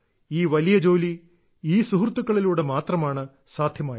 ഈ വലിയ ജോലി ഈ സുഹൃത്തുക്കളിലൂടെ മാത്രമാണ് സാധ്യമായത്